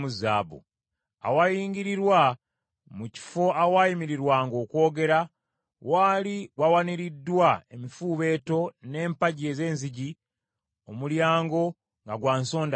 Awayingirirwa mu kifo awaayimirirwanga okwogera, waali wawaniriddwa emifuubeeto n’empagi ez’enzigi, omulyango nga gwa nsonda ttaano.